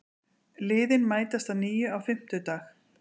Liðin mætast að nýju á fimmtudag